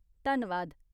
धन्नवाद !